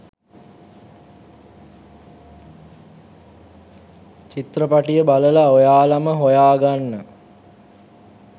චිත්‍රපටිය බලලා ඔයාලම හොයාගන්න